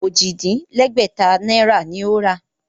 Ojì-dín-lẹ́gbẹ̀ta náírà ni ó rà á